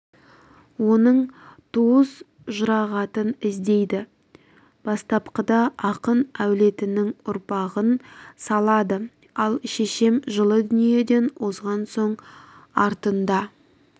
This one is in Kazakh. оның туыс-жұрағатын іздейді бастапқыда ақын әулетінің ұрпағын салады ал шешем жылы дүниеден озған соң артында